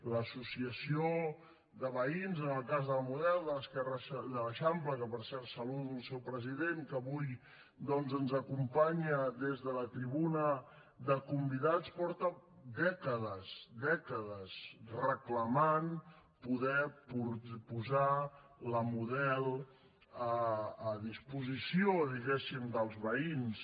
l’associació de veïns en el cas de la model de l’esquerra de l’eixample que per cert saludo el seu president que avui doncs ens acompanya des de la tribuna de convidats porta dècades dècades reclamant poder posar la model a disposició diguéssim dels veïns